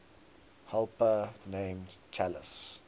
helper named talus